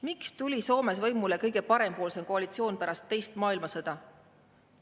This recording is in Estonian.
Miks tuli Soomes võimule kõige parempoolsem koalitsioon pärast teist maailmasõda?